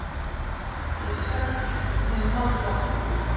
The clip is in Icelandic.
Ég er svekktur, við höfum náð botninum.